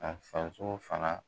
An faso fana.